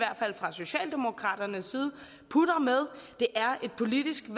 fra socialdemokraternes side putter med det er et politisk